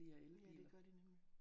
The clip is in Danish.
Ja det gør de nemlig